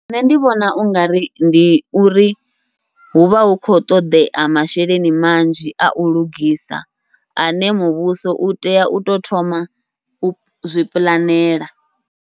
Nṋe ndi vhona ungari ndi uri huvha hu khou ṱoḓea masheleni manzhi au lugisa, ane muvhuso utea uto thoma uzwi puḽanela.